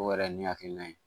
O yɛrɛ ye ne hakilina ye